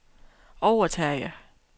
overtage